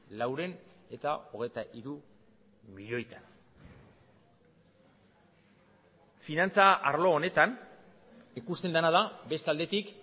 laurehun eta hogeita hiru milioitan finantza arlo honetan ikusten dena da beste aldetik